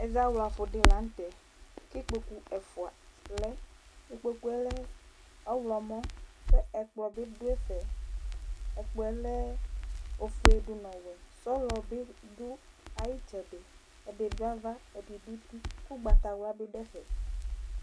Ɛzawla fu ɖɩ lanu tɛ, kikpoku ɛfua lɛ Ɩkpoku lɛ ɔɣlɔmɔ kɛ ɛkplɔ bɩ ɖu ɛfɛ Ɛkplɔ lɛ ofoe ɖunu ɔwɛ, sɔlɔ bɩ ɖu ayɩ tsɛɖɩ, ɛɖi ɖu ava, ɛɖɩ du utɩ ku ugbata wla bɩ ɖu ɛfɛ